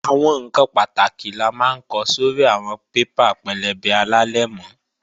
Àwọn ǹkan pàtàkì la máa ń ko sórí àwọn paper pẹlẹbẹ alálẹ̀mọ́